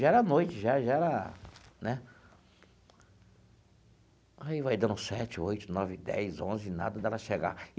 Já era noite já, já era né... Aí vai dando sete, oito, nove, dez, onze, nada dela chegar.